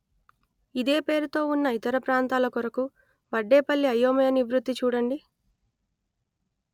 ఇదే పేరుతో ఉన్న ఇతర ప్రాంతాల కొరకు వడ్డేపల్లి అయోమయ నివృత్తి చూడండి